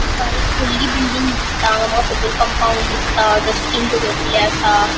हा एक वडली बिल्डिंग दिसता हांगा माका सकयल कम्पाउन्ड दिसता डस्टबिन दोवरिल्ले आसा.